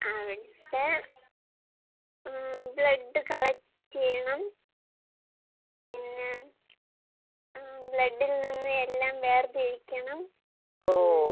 അവടെ ഉം blood collect ചെയ്യണം. പിന്നെ ആഹ് ബ്ലഡിൽ നിന്ന് എല്ലാം വേർതിരിക്കണം. ഉം.